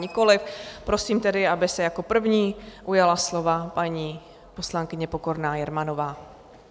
Nikoli, prosím tedy, aby se jako první ujala slova paní poslankyně Pokorná Jermanová.